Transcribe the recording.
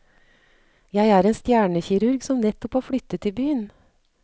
Jed er en stjernekirurg som nettopp har flyttet til byen.